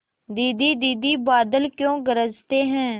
दीदी दीदी बादल क्यों गरजते हैं